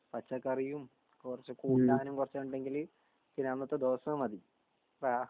പച്ചക്കറിയും കൊറച്ച് കൂട്ടാനും കൊറച്ച് ഉണ്ടെങ്കിൽ പിന്നെ അന്നത്തെ ദിവസം മതി ഫാ